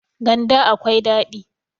ganda akwai dadi